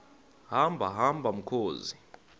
hamba hamba mkhozi